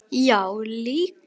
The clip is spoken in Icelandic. Já, líka.